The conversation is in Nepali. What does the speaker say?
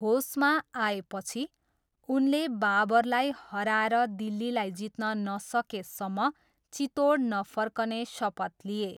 होसमा आएपछि, उनले बाबरलाई हराएर दिल्लीलाई जित्न नसकेसम्म चित्तोड नफर्कने शपथ लिए।